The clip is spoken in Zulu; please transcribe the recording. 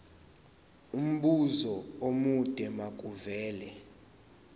umbuzo omude makuvele